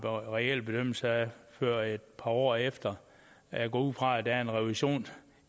reel bedømmelse af det før et par år efter jeg går ud fra der er en revision